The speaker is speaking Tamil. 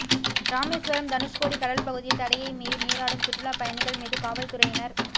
ராமேசுவரம் தனுஷ்கோடி கடல் பகுதியில் தடையை மீறி நீராடும் சுற்றுலாப் பயணிகள் மீது காவல் துறையினர்